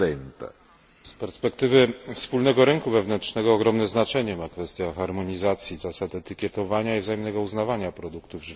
Z perspektywy wspólnego rynku wewnętrznego ogromne znaczenie ma kwestia harmonizacji zasad etykietowania i wzajemnego uznawania produktów żywnościowych.